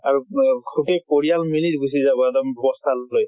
আৰু ৱা পৰিয়াল মিলি গুছি যাব এক্দম বস্তা লৈ।